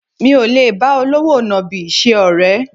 Mi ò lè bá olówò nàbì ṣe ọ̀rẹ́